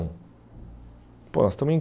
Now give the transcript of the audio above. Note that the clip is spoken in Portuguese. Pô, nós estamos em